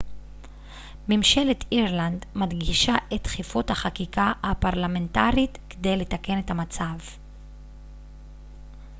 ממשלת אירלנד מדגישה את דחיפות החקיקה הפרלמנטרית כדי לתקן את המצב